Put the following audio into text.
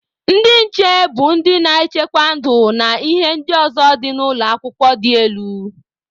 Ndị nche bụ ndị na-echekwa ndụ na ihe ndị ọzọ dị n'ụlọ akwụkwọ dị elu.